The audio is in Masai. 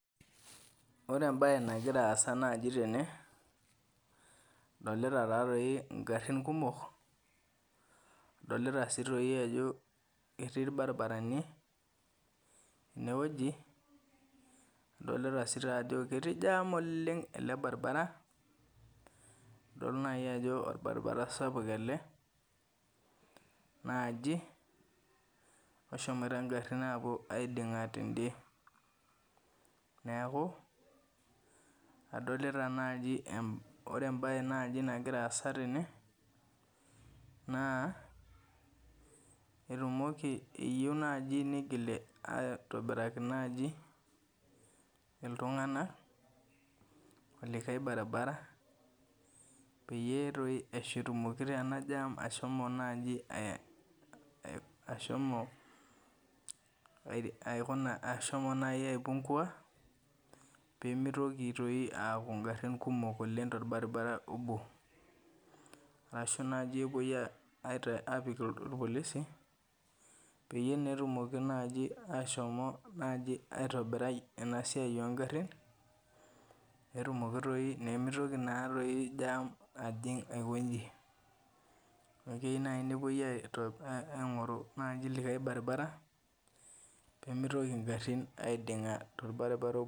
Ore ebae nagira aasa naji tene, adolita tatoi igarrin kumok, adolita si toi ajo etii irbarabarani enewueji, adolita si tajo etii jam oleng ele baribara, adol nai ajo orbaribara sapuk ele naji oshomoita garrin apuo aiding'a tede. Neeku, adolita naji ore ebae naji nagira aasa tene, naa, etumoki eyieu naji nigil aitobiraki naji iltung'anak olikae baribara, peyie toi etumoki ena jam ashomo naji ashomo aikuna ashomo naji ai pungua, pemitoki toi aku garrin kumok oleng torbaribara obo. Arashu naji epoi apik irpolisi, peyie netumoki naji ashomo naji aitobirai enasiai ogarrin, petumoki toi nimitoki natoi jam ajing' aikoji. Neeku keyieu nai nepoi aing'oru naji likae baribara, pemitoki garrin aiding'a torbaribara obo.